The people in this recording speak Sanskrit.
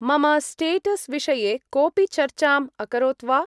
मम स्टेटस्-विषये कोपि चर्चाम् अकरोत् वा?